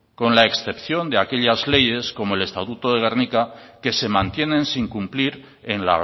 con la excepción de aquellas leyes como el estatuto de gernika que se mantienen sin cumplir en